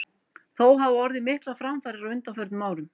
Þó hafa orðið miklar framfarir á undanförnum árum.